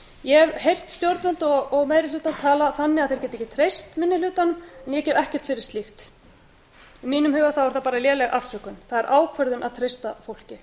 ég hef heyrt stjórnvöld og meiri hlutann tala þannig að þeir geti ekki treyst minni hlutanum ég gef ekkert fyrir slíkt í mínum huga er það bara léleg afsökun það er ákvörðun að treysta fólki